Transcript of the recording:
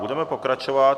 Budeme pokračovat.